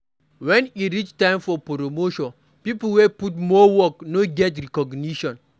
When e reach time for promotion pipo wey put more work no dey get recognition